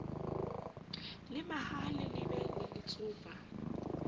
le mahaha le lebe letsopa